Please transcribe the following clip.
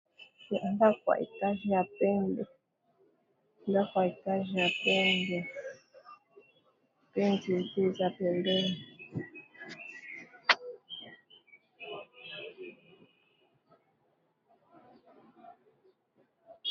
Ndaku ya étage ya pembe pe nzete eza pembeni.